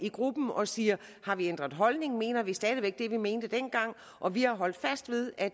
i gruppen og siger har vi ændret holdning mener vi stadig væk det vi mente dengang og vi har holdt fast ved at